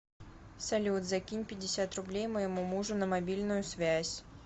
салют закинь пятьдесят рублей моему мужу на мобильную связь